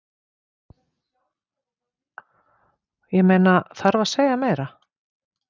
Ég meina, þarf að segja meira?